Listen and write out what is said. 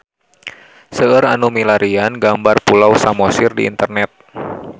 Seueur nu milarian gambar Pulau Samosir di internet